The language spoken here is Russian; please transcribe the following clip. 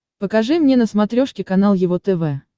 покажи мне на смотрешке канал его тв